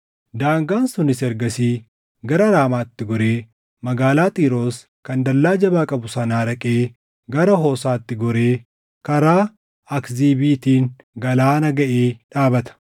Daangaan sunis ergasii gara Raamaatti goree magaalaa Xiiroos kan dallaa jabaa qabu sanaa dhaqee gara Hoosaatti goree karaa Akziibiitiin galaana gaʼee dhaabata;